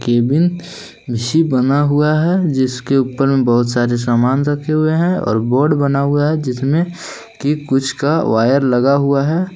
बना हुआ है जिसके ऊपर में बहुत सारे सामान रखे हुए हैं और बोर्ड बना हुआ है जिसमें कि कुछ का वायर लगा हुआ है।